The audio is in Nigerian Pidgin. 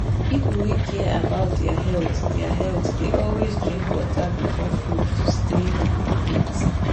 people wey care about their health their health dey always drink water before food to stay fit.